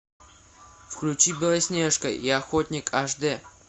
включи белоснежка и охотник аш дэ